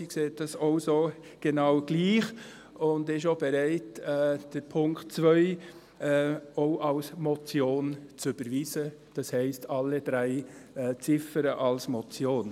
Sie sieht dies auch so, genau gleich und ist auch bereit, den Punkt 2 auch als Motion zu überweisen, das heisst: alle drei Ziffern als Motion.